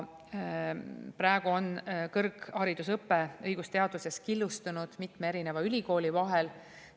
Praegu on kõrgharidusõpe õigusteaduses killustunud mitme erineva ülikooli vahel.